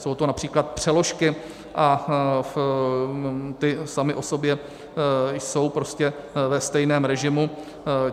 Jsou to například přeložky a ty samy o sobě jsou prostě ve stejném režimu.